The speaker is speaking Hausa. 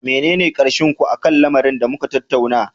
Menene karshen ku akan lamarin da muka tattauna?